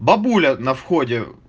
бабуля на входе